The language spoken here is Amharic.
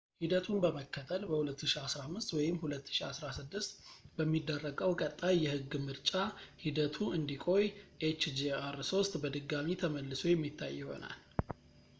ሂደቱን በመከተል በ2015 ወይም 2016 በሚደረገው ቀጣይ የሕግ ምርጫ ሂደቱ እንዲቆይ hjr-3 በድጋሚ ተመልሶ የሚታይ ይሆናል